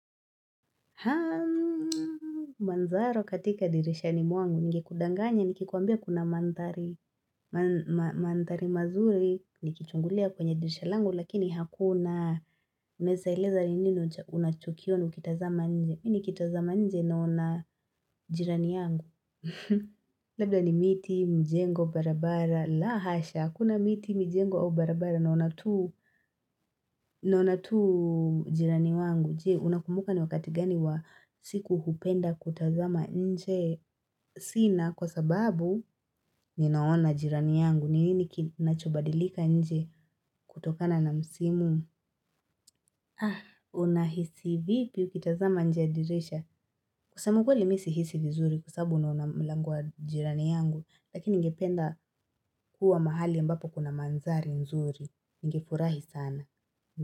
Haa, manzaro katika dirishani mwangu, ningekudanganya, nikikuambia kuna mandhari mazuri, nikichungulia kwenye dirisha langu, lakini hakuna, unaweza leza ni nini unachokion ukitazama nje, mimi nikitazama nje naona jirani yangu. Labda ni miti, mjengo, barabara la hasha, kuna miti, mijengo au barabara Naona tuu Naona tu jirani wangu. Je, unakumbuka ni wakati gani wa siku hupenda kutazama nje Sina kwa sababu Ninaona jirani yangu ni nini kinachobadilika nje kutokana na msimu. Aah, unahisi vipi ukitazama nje ya dirisha. Kusema ukweli mi sihisi vizuri Kwasabu naona mlango wa jirani yangu Lakini ningependa kuwa mahali ambapo kuna mandhari nzuri ningefurahi sana.